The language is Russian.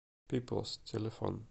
пиплс телефон